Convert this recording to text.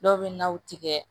Dɔw bɛ naw tigɛ